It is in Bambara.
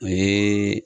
O ye